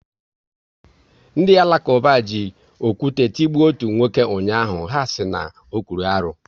Ndị Alakuba ji okwu te tigbo ọtu nwoke ụnyaahụ, ha sịrị na ọ̀kwụ́rụ́ arụ